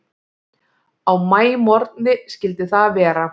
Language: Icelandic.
Á maímorgni skyldi það vera.